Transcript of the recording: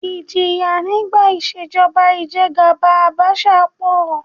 Ìjìyà nígbà ìṣèjọba ìjẹgàba Àbaṣà pọ̀